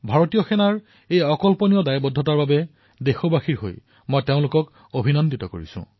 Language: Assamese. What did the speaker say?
ভাৰতীয় সেনাৰ এই অতুলনীয় প্ৰতিৱদ্ধতাৰ বাবে দেশবাসীৰ তৰফৰ পৰা মই তেওঁলোকক অভিনন্দন জনাইছো